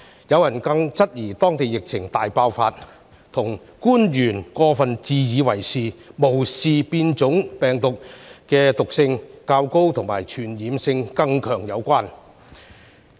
有人質疑，當地疫情大爆發與官員過分自以為是，無視變種病毒的毒性及傳播力更強有關。